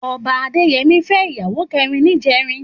Òbá Adeyemi fè iyàwó kèrín nijèrín